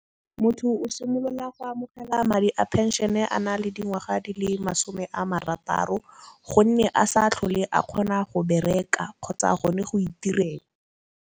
Motho o simolola go amogela madi a pension-e a na le dingwaga di le masome a marataro, gonne a sa tlhole a kgona go bereka kgotsa gone go itirela.